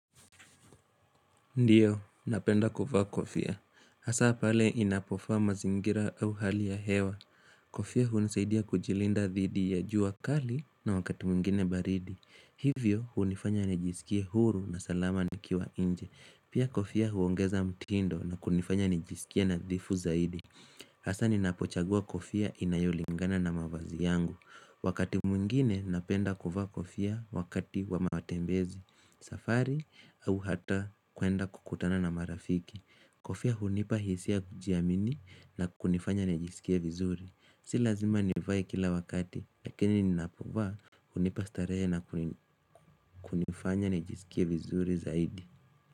Ndiyo, napenda kuvaa kofia. Hasa pale inapofaa mazingira au hali ya hewa. Kofia hunisaidia kujilinda dhidi ya jua kali na wakati mwingine baridi. Hivyo hunifanya nijisikie huru na salama nikiwa nje. Pia kofia huongeza mtindo na kunifanya nijisikie nadhifu zaidi. Hasa ninapochagua kofia inayolingana na mavazi yangu. Wakati mwingine napenda kuvaa kofia wakati wa matembezi. Safari au hata kuenda kukutana na marafiki Kofia hunipa hisia kujiamini na kunifanya najisikia vizuri Si lazima nivae kila wakati lakini ninapo vaa hunipa starehe na kunifanya nijisikia vizuri zaidi.